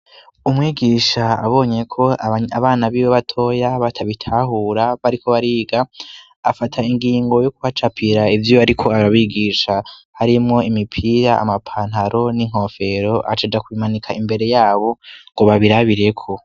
Umwigisha abonye ko abana biwe batoya batabitahura bariko bariga afata ingingo youkubacapira ivyo ari ko arabigisha harimwo imipira amapantaro n'inkofero acaja kubimanika imbere yabo ngo babirabireko.